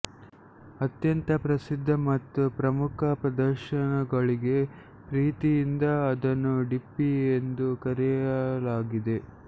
ಅತ್ಯಂತ ಪ್ರಸಿದ್ಧ ಮತ್ತು ಪ್ರಮುಖ ಪ್ರದರ್ಶನಗಳಿಗೆಪ್ರೀತಿಯಿಂದ ಅದನ್ನು ಡಿಪ್ಪಿ ಎಂದು ಕರೆಯಲಾಗಿದೆ